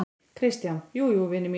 KRISTJÁN: Jú, jú, vinir mínir!